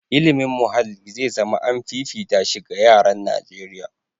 Ilimin muhalli zai zama an fifita shi ga yaran Najeriya.